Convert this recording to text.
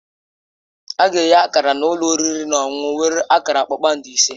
A ga-enye Akara na ụlọ oriri na ọṅụṅụ nwere akara kpakpando ise